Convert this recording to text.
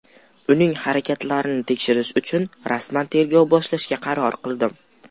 Uning harakatlarini tekshirish uchun rasman tergov boshlashga qaror qildim.